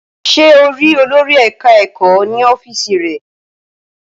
Ṣé o rí olòrì eka-eko ní ọ́fíìsì rẹ̀?